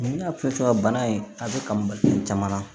N y'a fɔ cogo min na bana in a bɛ ka mali caman na